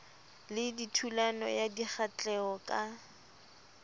le thulano ya dikgahleho ka